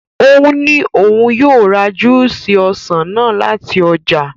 Ó ní òun yóò ra júúsì ọsàn náà láti ọjà.